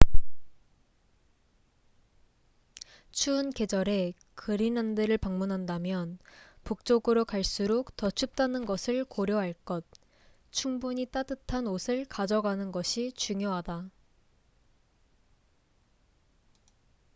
추운 계절에 그린란드를 방문한다면북쪽으로 갈수록 더 춥다는 것을 고려할 것 충분히 따뜻한 옷을 가져가는 것이 중요하다